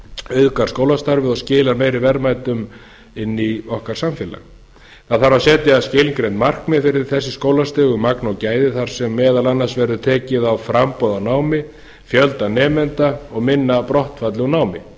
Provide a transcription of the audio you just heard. auðgað skólastarfið og skilar meiri verðmætum inn í okkar samfélag það þarf að setja skilgreind markmið fyrir þessi skólastig um magn og gæði þar sem meðal annars verði tekið á framboði á námi fjölda nemenda og minna brottfalli úr námi